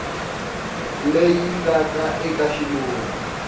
leyi yi nga eka xivulwa